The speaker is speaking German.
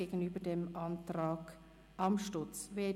Dies gegenüber dem Antrag Amstutz andererseits.